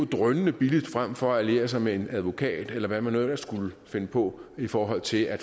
drønende billigt frem for at skulle alliere sig med en advokat eller hvad man nu ellers skulle finde på i forhold til at